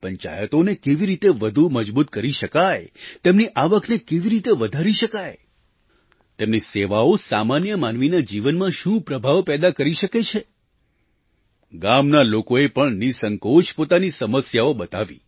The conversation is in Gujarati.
પંચાયતોને કેવી રીતે વધુ મજબૂત કરી શકાય તેમની આવકને કેવી રીતે વધારી શકાય તેમની સેવાઓ સામાન્ય માનવીના જીવનમાં શું પ્રભાવ પેદા કરી શકે છે ગામના લોકોએ પણ નિઃસંકોચ પોતાની સમસ્યાઓ બતાવી